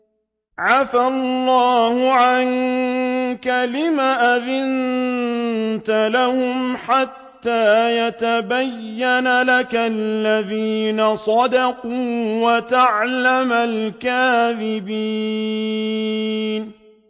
عَفَا اللَّهُ عَنكَ لِمَ أَذِنتَ لَهُمْ حَتَّىٰ يَتَبَيَّنَ لَكَ الَّذِينَ صَدَقُوا وَتَعْلَمَ الْكَاذِبِينَ